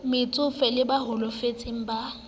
metsofe le ba holofetseng ba